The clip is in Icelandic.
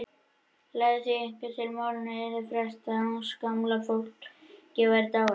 Lagði því einhver til að málinu yrði frestað uns gamla fólkið væri dáið.